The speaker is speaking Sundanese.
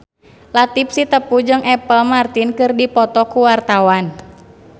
Latief Sitepu jeung Apple Martin keur dipoto ku wartawan